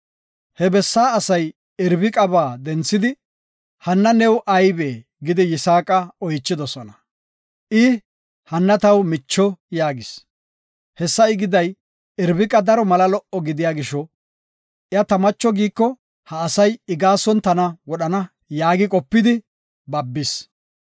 He biitta asay Irbiqaba denthidi, “Hanna new aybee?” gidi Yisaaqa oychidosona. I, “Hanna taw micho” yaagis. Hessa I giday, Irbiqa daro mala lo77o gidiya gisho, “Iya ta macho giiko, ha asay I gaason tana wodhana” yaagi qopidi babis.